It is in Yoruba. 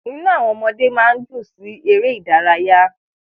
Inú àwọn ọmọ máa ń dùn sí ère idaraya